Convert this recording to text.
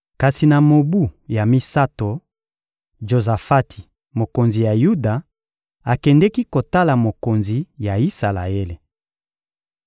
Kasi na mobu ya misato, Jozafati, mokonzi ya Yuda, akendeki kotala mokonzi ya Isalaele.